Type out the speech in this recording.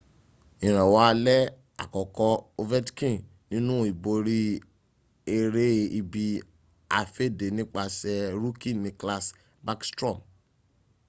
ìrànwọ́ alẹ́ àkọ́kọ́ ovechkin nínú ìborí ẹrẹ́ ibi-afẹ́dẹ́ nípasẹ̀ rookie nicklas backstrom